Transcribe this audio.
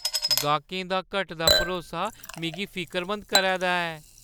गाह्कें दा घटदा भरोसा मिगी फिकरमंद करै दा ऐ ।